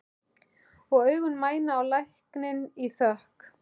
Og augun mæna á lækninn í þökk.